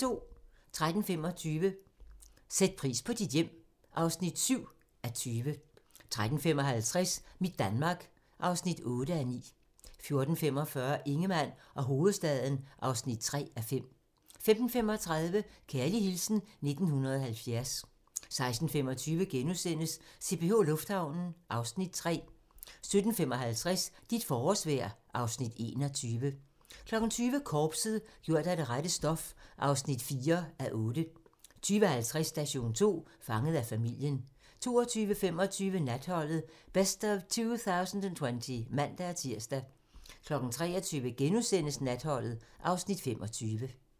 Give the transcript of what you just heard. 13:25: Sæt pris på dit hjem (7:20) 13:55: Mit Danmark (8:9) 14:45: Ingemann og hovedstaden (3:5) 15:35: Kærlig hilsen 1970 16:25: CPH Lufthavnen (Afs. 3)* 17:55: Dit forårsvejr (Afs. 21) 20:00: Korpset - gjort af det rette stof (4:8) 20:50: Station 2: Fanget af familien 22:25: Natholdet - Best of 2020 (man-tir) 23:00: Natholdet (Afs. 25)*